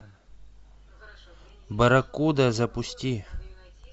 барракуда запусти